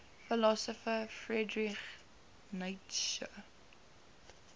philosopher friedrich nietzsche